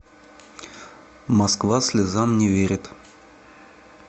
москва слезам не верит